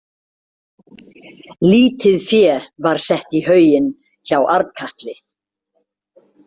Lítið fé var sett í hauginn hjá Arnkatli.